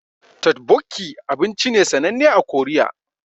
Totbokki abinci ne sananne a Korea